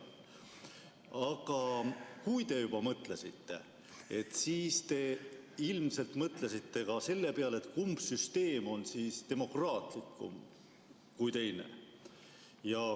Aga kui te juba mõtlesite, siis te ilmselt mõtlesite ka selle peale, kumb süsteem on demokraatlikum kui teine.